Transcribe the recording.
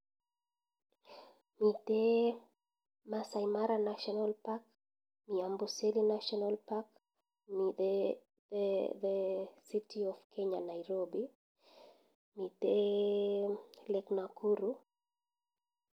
Mite Masai mara national park, mi Amboselli natioanal park mite the city of kenya Nairobi mite Lake Nakuru.